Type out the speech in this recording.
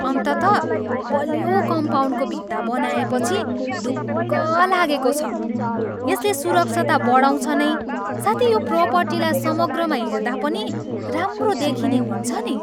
अन्ततः बलियो कम्पाउन्डको भित्ता बनाएपछि ढुक्क लागेको छ, यसले सुरक्षा त बढाउँछ नै साथै यो प्रोपर्टीला समग्रमा हेर्दा पनि राम्रो देखिने हुन्छ नि।